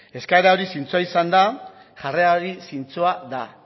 eskaera hori zintzoa izan da jarrera hori zintzoa da